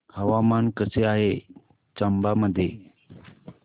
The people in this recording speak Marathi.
हवामान कसे आहे चंबा मध्ये